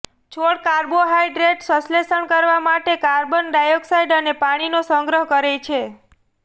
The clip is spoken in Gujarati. છોડ કાર્બોહાઈડ્રેટ સંશ્લેષણ કરવા માટે કાર્બન ડાયોક્સાઇડ અને પાણીનો ગ્રહણ કરે છે